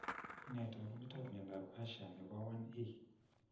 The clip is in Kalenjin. Nee taakunetaab myondap Usher, nebo 1E?